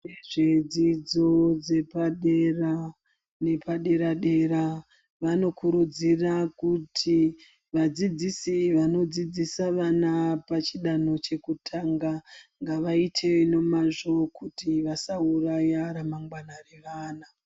Vezvedzidzo dzepadera nepaderadera vanokurudzira kuti vadzidzisi vanodzidzisa vana pachidanho chekutanga ngavaite nemazvo kuti vasauraya ramangwana revana.